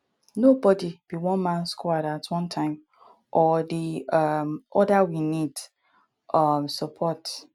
nobody be one man squad at one time or di um other we need um support